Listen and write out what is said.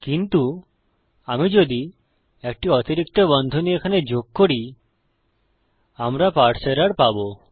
কিন্তু আমি যদি একটি অতিরিক্ত বন্ধনী এখানে যোগ করি আমরা পারসে এরর পাবো